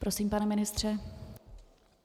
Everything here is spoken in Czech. Prosím, pane ministře.